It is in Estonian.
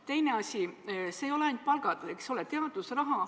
Teine asi, küsimus ei ole ainult palgas, eks ole.